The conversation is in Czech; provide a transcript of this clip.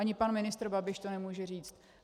Ani pan ministr Babiš to nemůže říct.